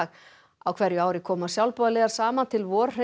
á hverju ári koma sjálfboðaliðar saman til